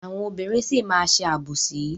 Àwọn obìnrin sì máa má ṣe àbòsí.